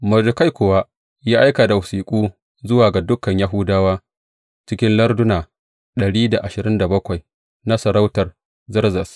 Mordekai kuwa ya aika da wasiƙu zuwa ga dukan Yahudawa cikin larduna dari da ashirin da bakwai na masarautar Zerzes.